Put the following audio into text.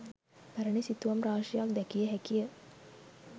පැරැණි සිතුවම් රාශියක් දැකිය හැකිය.